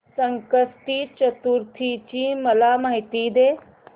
संकष्टी चतुर्थी ची मला माहिती दे